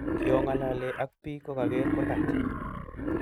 Kiongolole ag pik kogager kurgat